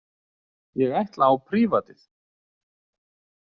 Ég ætla á prívatið.